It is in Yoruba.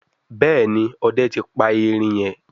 Béèni Òde tí pa erin yen.